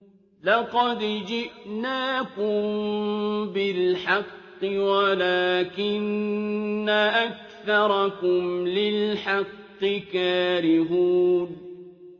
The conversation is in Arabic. لَقَدْ جِئْنَاكُم بِالْحَقِّ وَلَٰكِنَّ أَكْثَرَكُمْ لِلْحَقِّ كَارِهُونَ